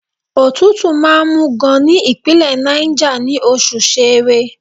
Òtútù máa ń mú gan-an ní Ìpínlẹ̀ Náìjà, ní oṣù Ṣẹẹrẹ.